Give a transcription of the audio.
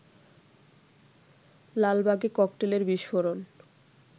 লালবাগে ককটেলের বিস্ফোরণ